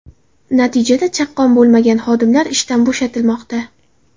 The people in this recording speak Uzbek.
Natijada chaqqon bo‘lmagan xodimlar ishdan bo‘shatilmoqda.